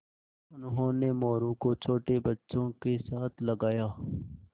उन्होंने मोरू को छोटे बच्चों के साथ लगाया